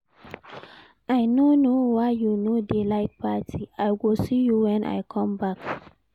I no know why you no dey like party. I go see you when I come back.